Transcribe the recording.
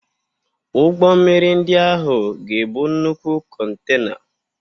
Ụgbọ mmiri ndị ahụ ga-ebu nnukwu kontena.